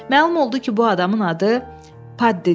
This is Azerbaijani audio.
Məlum oldu ki, bu adamın adı Paddidir.